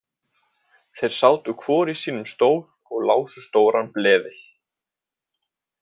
Þeir sátu hvor í sínum stól og lásu stóran bleðil.